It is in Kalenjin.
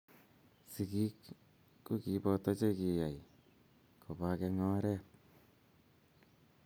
Sikiik ko kiboto che kiyay kobak eng oret.